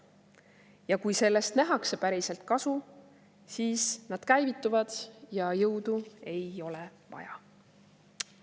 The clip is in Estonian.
Ja kui sellest nähakse päriselt kasu, siis nad käivituvad ja jõudu ei ole vaja.